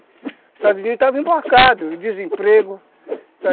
O Estados Unidos estava emborcado, o desemprego.